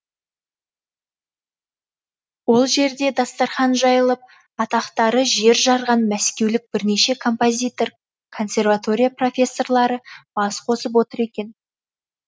ол жерде дастархан жайылып атақтары жер жарған мәскеулік бірнеше композитор консерватория профессорлары бас қосып отыр екен